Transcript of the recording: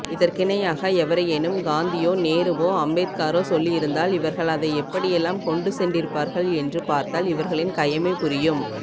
இதற்கிணையாக எவரையேனும் காந்தியோ நேருவோ அம்பேத்கரோ சொல்லியிருந்தால் இவர்கள் அதை எப்படியெல்லாம் கொண்டுசென்றிருப்பார்கள் என்று பார்த்தால் இவர்களின் கயமைபுரியும்